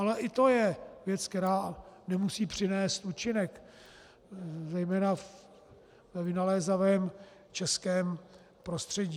Ale i to je věc, která nemusí přinést účinek, zejména ve vynalézavém českém prostředí.